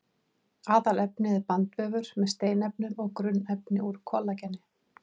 Aðalefnið er bandvefur með steinefnum og grunnefni úr kollageni.